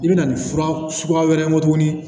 I bɛ na nin fura suguya wɛrɛ ye tuguni